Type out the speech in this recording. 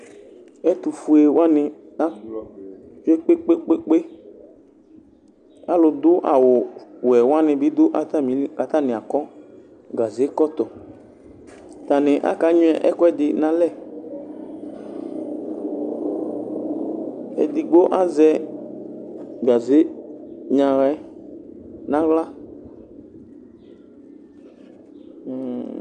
Ɛtʋfue wani akɔ kpe kpe kpe alʋdʋ awʋwɛ wani bi dʋ atami ili kʋ atani akɔ gazekɔtɔ atani aka nyuɛ ɛkʋɛdi nʋ alɛ edigbo azɛ gaze nyaɣa yɛ nʋ aɣla